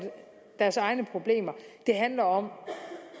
deres egne problemer det handler om